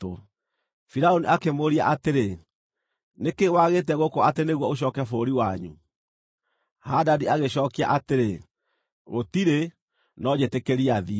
Firaũni akĩmũũria atĩrĩ, “Nĩ kĩĩ wagĩte gũkũ atĩ nĩguo ũcooke bũrũri wanyu?” Hadadi agĩcookia atĩrĩ, “Gũtirĩ, no njĩtĩkĩria thiĩ!”